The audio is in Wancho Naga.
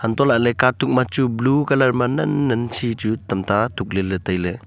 toh lahley katuk ma chu blue colour ma nan nan si chu tamta tuk ley ley tailey.